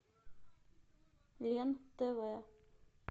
лен тв